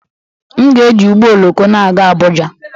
M ga-eji ụgbọ oloko na-aga Abuja